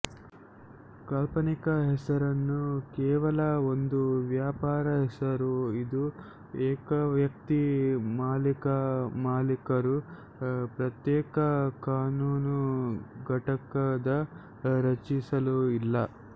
ಕಾಲ್ಪನಿಕ ಹೆಸರನ್ನು ಕೇವಲ ಒಂದು ವ್ಯಾಪಾರ ಹೆಸರು ಇದು ಏಕವ್ಯಕ್ತಿ ಮಾಲೀಕ ಮಾಲೀಕರು ಪ್ರತ್ಯೇಕ ಕಾನೂನು ಘಟಕದ ರಚಿಸಲು ಇಲ್ಲ